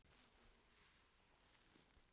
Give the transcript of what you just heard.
Til eru nokkrar gerðir leturs